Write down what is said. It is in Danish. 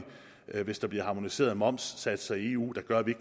gør hvis der bliver harmoniserede momssatser i eu der gør at vi